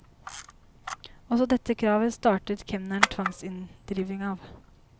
Også dette kravet startet kemneren tvangsinndriving av.